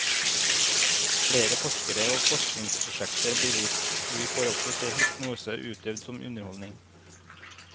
Flere forskere og forskningsprosjekter blir vist, og vi får også se hypnose utøvd som underholdning.